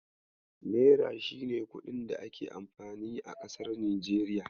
Naira shine kuɗin da ake amfani a kasar Nijeriya.